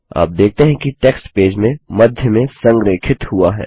आप देखते हैं कि टेक्स्ट पेज में मध्य में संरेखित हुआ है